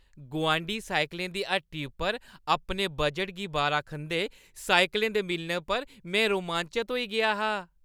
गुआंढी साइकलें दी हट्टी उप्पर अपने बजटै गी बारा खंदे साइकलें दे मिलने पर में रोमांचत होई गेआ हा।